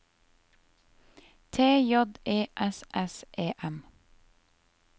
T J E S S E M